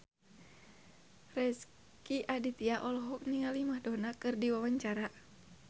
Rezky Aditya olohok ningali Madonna keur diwawancara